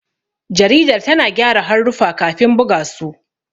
Jaridar tana gyara haruffa kafin buga su.